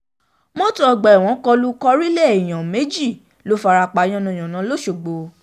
mọ́tò ọgbà ẹ̀wọ̀n kọ lu korílẹ̀ èèyàn méjì ló fara pa yánnayànna lọ́ṣogbo